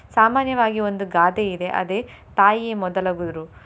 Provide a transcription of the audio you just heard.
ಸಾಮಾನ್ಯವಾಗಿ ಒಂದು ಗಾದೆ ಇದೆ ಅದೇ ತಾಯಿಯೇ ಮೊದಲ ಗುರು.